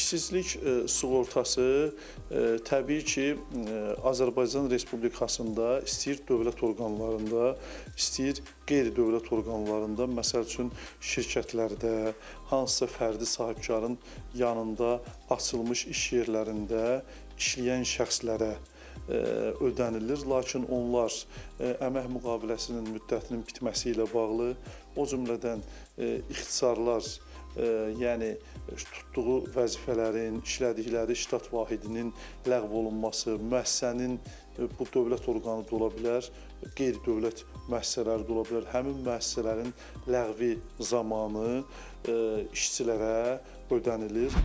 İşsizlik sığortası təbii ki, Azərbaycan Respublikasında istəyir dövlət orqanlarında, istəyir qeyri-dövlət orqanlarında, məsəl üçün, şirkətlərdə, hansısa fərdi sahibkarın yanında açılmış iş yerlərində işləyən şəxslərə ödənilir, lakin onlar əmək müqaviləsinin müddətinin bitməsi ilə bağlı, o cümlədən ixtisarlar, yəni tutduğu vəzifələrin, işlədikləri ştat vahidinin ləğv olunması, müəssisənin bu dövlət orqanı da ola bilər, qeyri-dövlət müəssisələri də ola bilər, həmin müəssisələrin ləğvi zamanı işçilərə ödənilir.